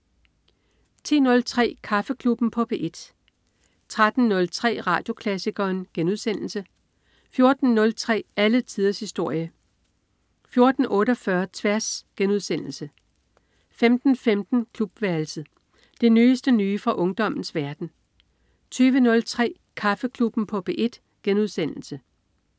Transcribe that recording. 10.03 Kaffeklubben på P1 13.03 Radioklassikeren* 14.03 Alle tiders historie 14.48 Tværs* 15.15 Klubværelset. Det nyeste nye fra ungdommens verden 20.03 Kaffeklubben på P1*